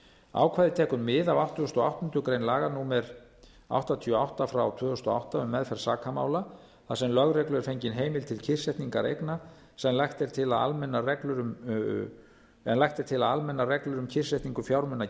ákvæðið tekur mið af áttugasta og áttundu grein laga númer áttatíu og átta tvö þúsund og átta um meðferð sakamála þar sem lögreglu er fengin heimild til kyrrsetningar eigna en lagt er til að almennar reglur um kyrrsetningu fjármuna